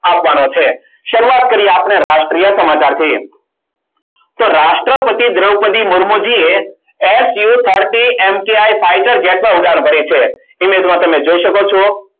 આપવાનો છે. શરૂઆત કરીએ આપણે રાષ્ટ્રીય સમાચારથી તો રાષ્ટ્રપતિ દ્રોપદી મૂર્મુ જી એ su thirty mki fighter jet માં ઉડાન ભરી છે. એની અંદર તમે જોઈ શકો છો.